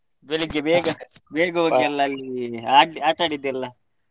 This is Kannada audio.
ಬೆಳ್ಳಿಗ್ಗೆ ಬೇಗ ಬೇಗ ಹೋಗಿ ಎಲ್ಲ ಅಲ್ಲಿ ಆಟ ಆಡಿದ್ದೆಲ್ಲಾ.